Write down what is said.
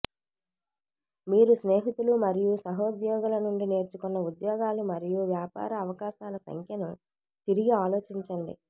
మీరు స్నేహితులు మరియు సహోద్యోగుల నుండి నేర్చుకున్న ఉద్యోగాలు మరియు వ్యాపార అవకాశాల సంఖ్యను తిరిగి ఆలోచించండి